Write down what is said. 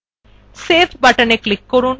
save buttonএ click করুন